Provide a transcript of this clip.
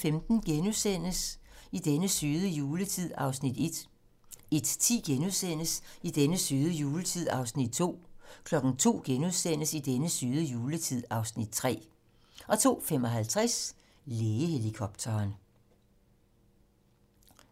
00:15: I den søde juletid (Afs. 1)* 01:10: I den søde juletid (Afs. 2)* 02:00: I den søde juletid (Afs. 3)* 02:55: Lægehelikopteren